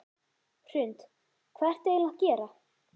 Hrund: Hvað ertu eiginlega að gera?